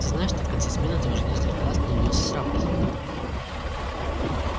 ты знаешь что в конце смены ты уже несколько раз не явился с рапортом